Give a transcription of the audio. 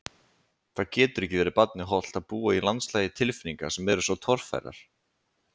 Það getur ekki verið barni hollt að búa í landslagi tilfinninga sem eru svo torfærar.